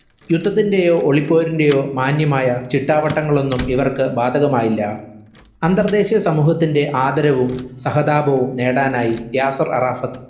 യുദ്ധത്തിന്റെയോ ഒളിപ്പോരിന്റെയോ മാന്യമായ ചിട്ടാവട്ടങ്ങളൊന്നും ഇവർക്ക് ഭാതകമായില്ല. അന്തർദേശിയ സമൂഹത്തിന്റെ ആദരവും സഹതാപവും നേടാനായി യാസർ അറാഫത്